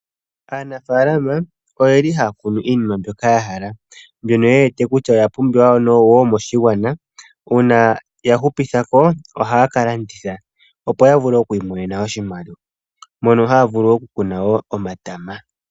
Aanafaalama ohaa kunu iinima mbyoka ya hala mbyono ye wete kutya oya pumbiwa woo moshigwana uuna ya hupitha ko ohaa ka landitha, opo ya vule okwiimonena oshimaliwa mono haa vulu okukuna woo omatama.